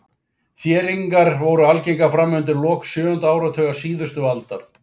Þéringar voru algengar fram undir lok sjöunda áratugar síðustu aldar.